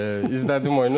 İzlədim oyunu,